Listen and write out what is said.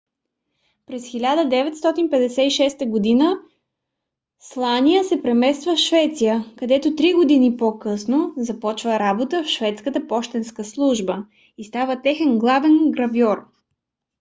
през 1956 г. слания се премества в швеция където три години по - късно започва работа в шведската пощенска служба и става техен главен гравьор